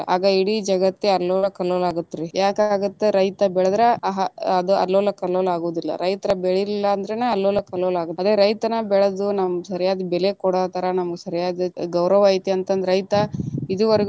ಆಗ ಇಡಿ ಜಗತ್ತೆ ಅಲ್ಲೊಲ ಕಲ್ಲೊಲ ಆಗತ್ತ ರೀ, ಯಾಕ ಆಗತ್ತ ರೈತ ಬೆಳೆದ್ರಾ ಅದು ಅಲ್ಲೊಲ ಕಲ್ಲೊಲ ಆಗುದಿಲ್ಲಾ ರೈತರ ಬೆಳಿಲಿಲ್ಲಾ ಅಂದ್ರನ ಅಲ್ಲೊಲ ಕಲ್ಲೊಲ ಅದ ರೈತನ ಬೆಳೆದು ನಮ್ಗ ಸರಿಯಾದ ಬೆಲೆ ಕೊಡತಾರ ನಮಗ ಸರಿಯಾದ ಗೌರವ ಐತಿ ಅಂತಂದ ರೈತ ಇದುವರೆಗೂ.